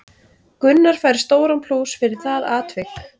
Gunnar fær stóran plús fyrir það atvik.